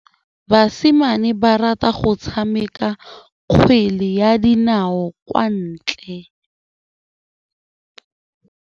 Basimane ba rata go tshameka kgwele ya dinaô kwa ntle.